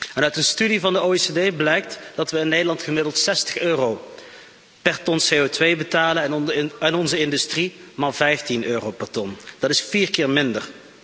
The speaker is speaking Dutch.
En uit een studie van de OESO blijkt dat we in Nederland gemiddeld 60 euro per ton CO2 betalen en onze industrie maar 15 euro per ton, dat is vier keer minder.